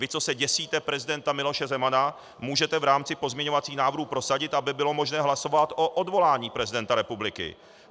Vy, co se děsíte prezidenta Miloše Zemana, můžete v rámci pozměňovacích návrhů prosadit, aby bylo možné hlasovat o odvolání prezidenta republiky.